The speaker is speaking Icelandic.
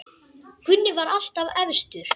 Gunni var alltaf efstur.